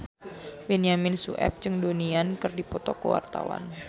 Benyamin Sueb jeung Donnie Yan keur dipoto ku wartawan